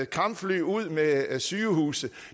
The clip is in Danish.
kampfly ud med sygehuse